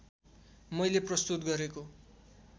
मैले प्रस्तुत गरेको